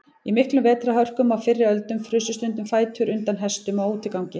Í miklum vetrarhörkum á fyrri öldum frusu stundum fætur undan hestum á útigangi.